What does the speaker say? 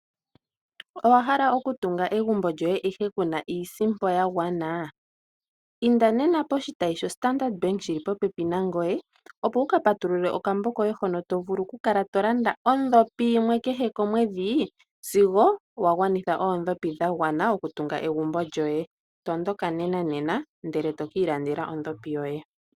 Owahala okutunga egumbo lyoye ashike kuna iisimpo ya gwana? Inda nena poshi tayi sho Standard Bank shili popepi nangoye, opo wu ka patulule okambo koye hono tovulu oku kala to landa oondhopi yimwe kehe omwedhi sigo wa gwanitha oondhopi dha gwana oku tunga egumbo lyoye. Tondoka nenanena ndele tokii landela ondhopi yoye.